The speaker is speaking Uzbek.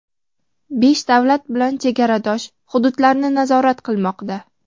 besh davlat bilan chegaradosh hududlarni nazorat qilmoqda.